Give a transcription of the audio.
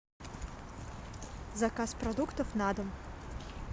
заказ продуктов на дом